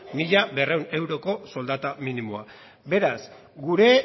mila berrehun euroko soldata minimoa beraz gure